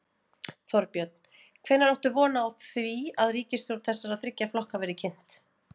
Þorbjörn: Hvenær áttu von á því að ríkisstjórn þessara þriggja flokka verði kynnt?